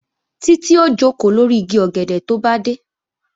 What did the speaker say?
Títí ó jòkó lórí igi ọ̀gẹ̀dẹ̀ tó bá dé